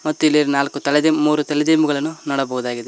ಮತ್ತು ಇಲ್ಲಿ ನಾಲ್ಕು ತಲೆದಿಂಬು ಮೂರು ತಲೆದಿಂಬುಗಳನ್ನು ನೋಡಬಹುದಾಗಿದೆ.